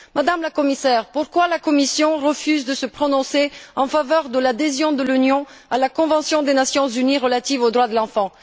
Madame la Commissaire, pourquoi la Commission refuse t elle de se prononcer en faveur de l'adhésion de l'Union à la convention des Nations unies relative aux droits de l'enfant?